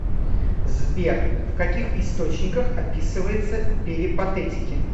сбер в каких источниках описывается перипатетики